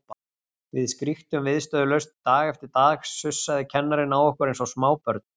Við skríktum viðstöðulaust, dag eftir dag sussaði kennarinn á okkur eins og smábörn.